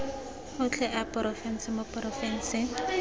otlhe a porofense mo porofenseng